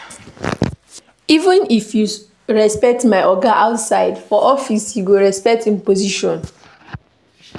Even if you sabi your oga outside, for office you go respect im position.